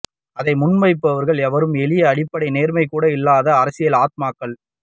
அதை முன்வைப்பவர்கள் எவருமே எளிய அடிப்படை நேர்மை கூட இல்லாத அரசியல் ஆத்மாக்கள்